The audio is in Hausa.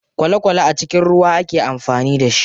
Kwale kwale a cikin ruwa ake amfani da shi.